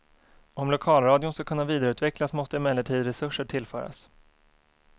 Om lokalradion skall kunna vidareutvecklas måste emellertid resurser tillföras.